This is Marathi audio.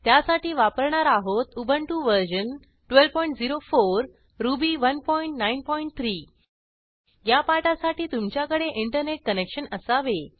त्यासाठी वापरणार आहोत उबंटु वर्जन 1204 रुबी 193 या पाठासाठी तुमच्याकडे इंटरनेट कनेक्शन असावे